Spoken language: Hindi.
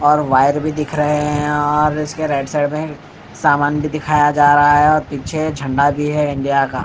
और वायर भी दिख रहे हैं और इसके राइट साइड में सामान भी दिखाया जा रहा है और पीछे झंडा भी है इंडिया का--